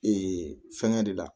Ee fɛngɛ de la